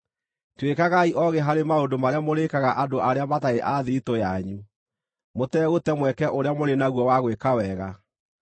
Tuĩkagai oogĩ harĩ maũndũ marĩa mũrĩĩkaga andũ arĩa matarĩ a thiritũ yanyu; mũtegũte mweke ũrĩa mũrĩ naguo wa gwĩka wega.